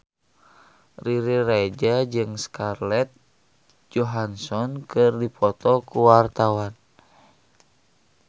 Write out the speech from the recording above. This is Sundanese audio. Riri Reza jeung Scarlett Johansson keur dipoto ku wartawan